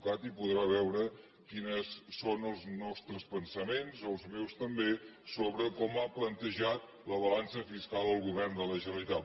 cat i podrà veure quins són els nostres pensaments els meus també sobre com ha plantejat la balança fiscal el govern de la generalitat